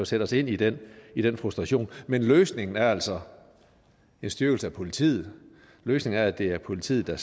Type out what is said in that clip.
sætte os ind i den i den frustration men løsningen er altså en styrkelse af politiet løsningen er at det er politiet der